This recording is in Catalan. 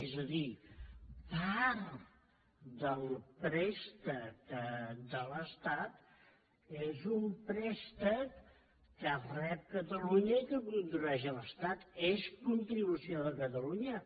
és a dir part del préstec de l’estat és un préstec que rep catalunya i que contribueix a l’estat és contribució de catalunya